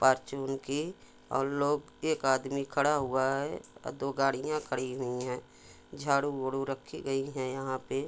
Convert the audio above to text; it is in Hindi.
फॉर्चून की और लोग एक आदमी खड़ा हुआ है दो गाड़िया कड़ी हुआ है झाड़ू वाडु राखी गई है यहाँ पे